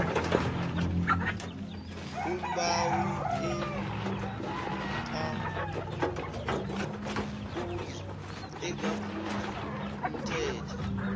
umbawi akaphuli umthetho